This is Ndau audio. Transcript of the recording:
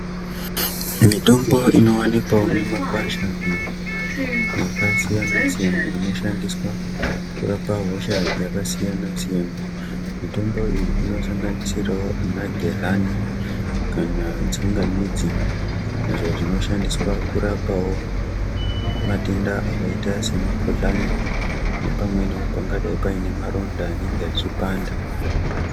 Mitombo inovanikwavo mumakwasha iyo yakasiyana-siyana iyo inoshandiswa kurapa hosha yakasiyana-siyana. Mitombo iyi inosanganisiravo vana gezhani kana tsangamidzi. Izvo zvinoshandiswa kurapavo matenda akaita semikuhlani nepamwenivo pangadai pane maronda anenge achipanda.